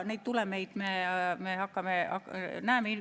Neid tulemeid me näeme.